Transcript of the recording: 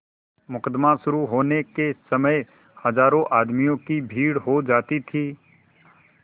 मुकदमा शुरु होने के समय हजारों आदमियों की भीड़ हो जाती थी